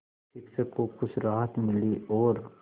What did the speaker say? शिक्षक को कुछ राहत मिली और